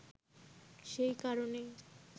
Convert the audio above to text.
সেই কারণেই